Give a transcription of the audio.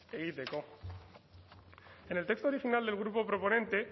egiteko en el texto original del grupo proponente